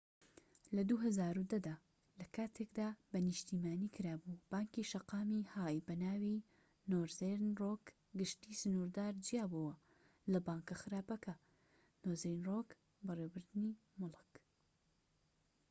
لە ٢٠١٠ دا لەکاتێکدا بە نیشتیمانی کرابوو، بانکی شەقامی های بەناوی نۆرزێرن رۆک/گشتی سنوردار جیابۆوە لە 'بانکە خراپەکە' نۆرزێرن رۆک بەڕێوەبردنی موڵك